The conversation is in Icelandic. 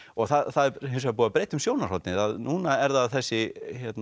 og það er hins vegar búið að breyta um sjónarhornið núna er það þessi